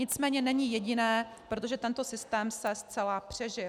Nicméně není jediné, protože tento systém se zcela přežil.